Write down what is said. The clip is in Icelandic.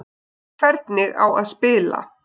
Hvernig á að spila?